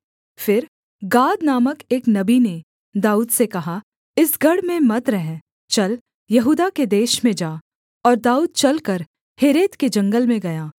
फिर गाद नामक एक नबी ने दाऊद से कहा इस गढ़ में मत रह चल यहूदा के देश में जा और दाऊद चलकर हेरेत के जंगल में गया